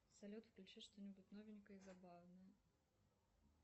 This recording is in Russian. салют включи что нибудь новенькое и забавное